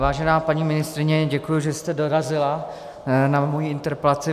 Vážená paní ministryně, děkuji, že jste dorazila na moji interpelaci.